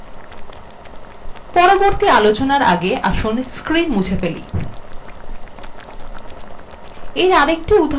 পরবর্তী আলোচনার again আসুন screen মুছে ফেলি